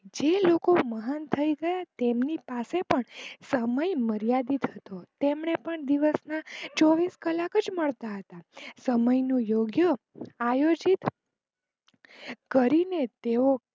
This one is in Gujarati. જે લોકો મહાન થઇ ગયા તેમની પાસે પણ સમય માર્યાદિત હતો તેમને પણ દિવસ ના ચોવીશ કલાક જ મળતા હતા સમય નું યોગ્ય આયોજિત કરીને તેઓ